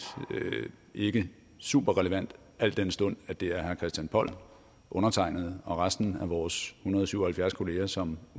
ikke super relevant al den stund at det er herre christian poll undertegnede og resten af vores hundrede og syv og halvfjerds kolleger som